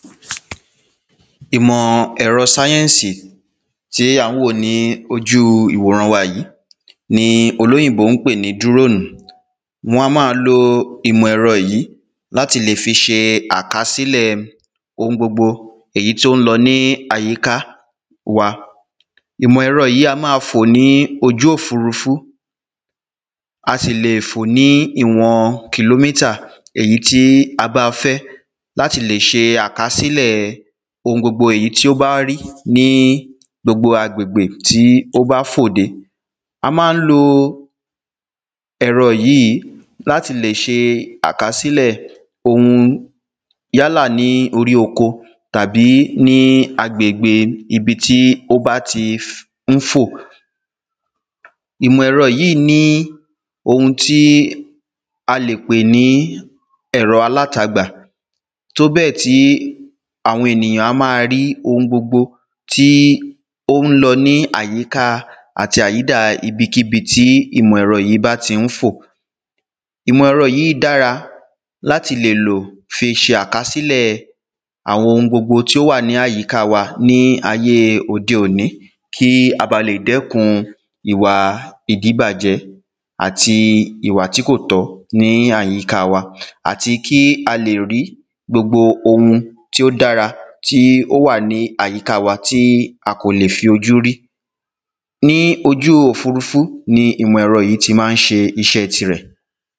Ìmọ̀ ẹ̀rọ Science tí à ń wò ní ojú ìwòrán wa yìí ni olóyìnbó ń pè ní drone Wọn á máa lo ìmọ̀ ẹ̀rọ yìí láti lè fi sí àkasílẹ̀ oun gbogbo èyí tí ó ń lọ ní àyíká wa Ìmọ̀ ẹ̀rọ yìí á máa fò ní ojú òfurufú A sì lè fò ní ìwọn kilometer èyí tí a bá fẹ́ láti lè ṣe àkasílẹ̀ oun gbogbo èyí tí ó bá rí ní gbogbo agbèbgbè tí ó bá fò dé A ma ń lo ẹ̀rọ yìí láti lè ṣe àkasílẹ̀ oun yálà ní orí oko tàbí ní agbègbè ibi tí ó bá ti ń fò Ìmọ̀ ẹ̀rọ yìí ní oun tí a lè pè ní ẹ̀rọ alátagbà tóbẹ́ẹ̀ tí àwọn ènìyàn á máa rí oun gbogbo tí ó ń lọ ní àyíka àti àyídà ibikíbi tí ìmọ̀ ẹ̀rọ yìí bá tí ń fò Ìmọ̀ ẹ̀rọ yìí dára láti lè lò fi ṣe àkasílẹ̀ àwọn oun gbogbo tí o wà ní àyíká wa ní ayé òde òní kí a ba lè dẹ́kun ìwà ìdíbàjẹ́ àti ìwà tí kò tọ́ ní àyíká wa àti kí a lè rí gbogbo oun tí ó dára tí ó wà ní àyíká wa tí a kò lè fi ojú rí Ní ojú òfurufú ni ìmọ̀ ẹ̀rọ yìí ti ma ń ṣe iṣẹ́ tirẹ̀